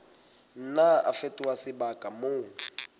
nna a fetoha sebaka moo